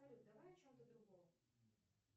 салют давай о чем то другом